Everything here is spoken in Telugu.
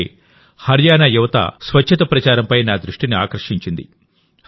ఇలాగేహర్యానా యువత స్వచ్ఛత ప్రచారంపై నా దృష్టిని ఆకర్షించింది